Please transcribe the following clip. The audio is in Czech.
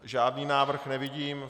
Žádný návrh nevidím.